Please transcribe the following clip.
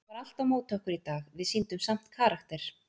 Það var allt á móti okkur í dag, við sýndum samt karakter.